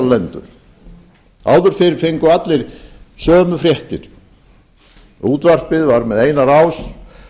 lendur áður fyrr fengu allir sömu fréttir útvarpið var með eina rás dagblöðin